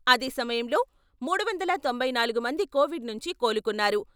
అదే సమయంలో మూడు వందల తొంభై నాలుగు మంది కోవిడ్ నుంచి కోలుకున్నారు.